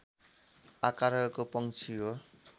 आकारको पंक्षी हो